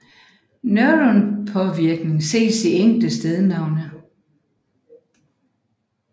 Norrøn påvirkning ses i enkelte stednavne